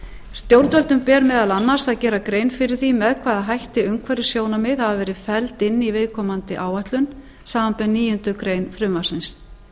stjórnvöldum ber meðal annars að gera grein fyrir því með hvaða hætti umhverfissjónarmið hafa verið felld inn í viðkomandi áætlun samanber níundu grein frumvarpsins skipulagsstofnun